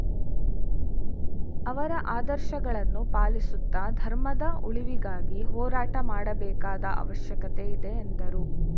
ಅವರ ಆದರ್ಶಗಳನ್ನು ಪಾಲಿಸುತ್ತಾ ಧರ್ಮದ ಉಳಿವಿಗಾಗಿ ಹೋರಾಟ ಮಾಡಬೇಕಾದ ಅವಶ್ಯತೆ ಇದೆ ಎಂದರು